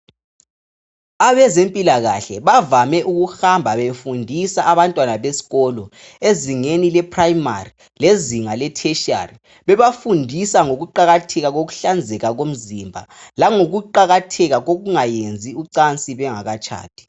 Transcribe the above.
Abezempilakahle bavale ukuhamba befundisa abantwana besikolo ezingeni leprimary lezinga letertiary bebafundisa ngokuqakatheka kokuhlanzeka kumzimba langokuqakatheka kwokungayenzi ucansi bengakatshadi